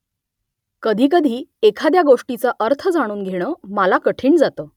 कधीकधी एखाद्या गोष्टीचा अर्थ जाणून घेणं मला कठीण जातं